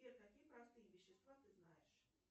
сбер какие простые вещества ты знаешь